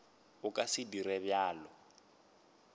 a ka se dire bjalo